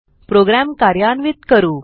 program कार्यान्वित करू